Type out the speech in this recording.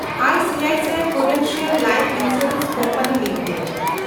I C I C I prudential life insurance company limited